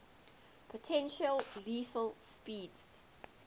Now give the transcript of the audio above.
potentially lethal speeds